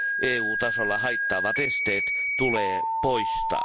EU tasolla haittaavat esteet tulee poistaa.